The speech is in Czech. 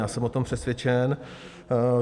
Já jsem o tom přesvědčen.